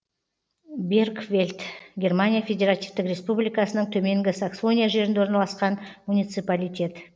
бергфельд германия федеративтік республикасының төменгі саксония жерінде орналасқан муниципалитет